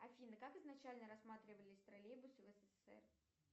афина как изначально рассматривались троллейбусы в ссср